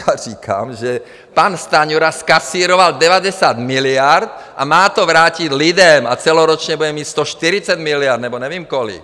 Já říkám, že pan Stanjura kasíroval 90 miliard a má to vrátit lidem, a celoročně bude mít 140 miliard, nebo nevím kolik.